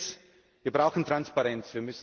Erstens Wir brauchen Transparenz.